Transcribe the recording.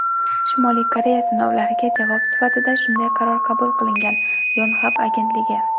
Shimoliy Koreya sinovlariga javob sifatida shunday qaror qabul qilingan – "Yonhap" agentligi.